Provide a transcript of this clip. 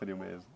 Frio mesmo.